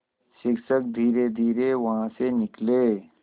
शिक्षक धीरेधीरे वहाँ से निकले